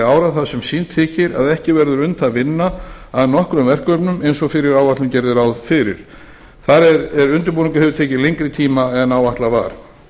ára þar sem sýnt þykir að ekki verður unnt að vinna að nokkrum verkefnum eins og fyrri áætlun gerði ráð fyrir þar eð undirbúningur hefur tekið lengri tíma en áætlað var